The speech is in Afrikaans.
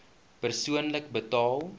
persoonlik betaal